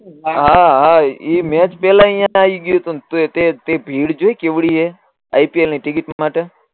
હા હા ઈ મેચ પેહલા અહિયાં આવી ગયું તે ભીડ જોઈ કેવડી એ આઇપીએલની ટીકીટ માતે